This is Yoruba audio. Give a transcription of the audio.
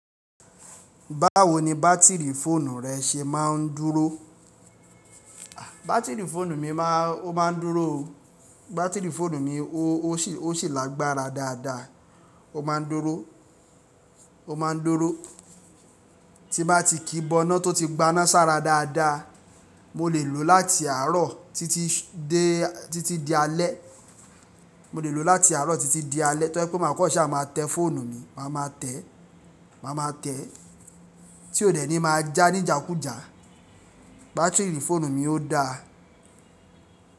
Báwo ni bátìrì fóònù rẹ ṣe máa ń dúró? Bátìrì fóònù mi máa ń, ó máa ń dúró o. Bátìrì fóònù mi ó sì lágbára dáadáa, ó máa ń dúró, ó máa ń dúró. Tí bá ti kíbọná tó ti gbaná sára dáadáa, mo lè lò láti àárọ̀ títí di alẹ́. Mo lè lò láti àárọ̀ títí di alẹ́. To jẹ pé má kan ṣá máa tẹ́ fóònù mi, màá máa tẹ̀, màá máa tẹ̀. Tí ó dẹ̀ ní máa já ní ìjákùjá, bátìrì fóònù mi ó dáa.